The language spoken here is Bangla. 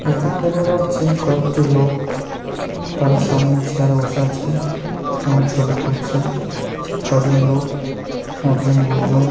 এখানে দেখা যাচ্ছে কয়েকটি লোক তারা সামনে চেয়ার এ বসে আছেন এবং ছবি তুলছে ছয় জন লোক একজন গুরুজন।